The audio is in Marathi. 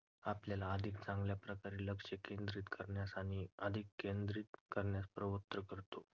आपल्याला अधिक चांगल्या प्रकारे लक्ष केंद्रित करण्यास आणि अधिक लक्ष केंद्रित करण्यास प्रवृत्त करतो.